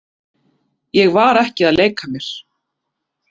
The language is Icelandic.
Ég var ekki að leika mér.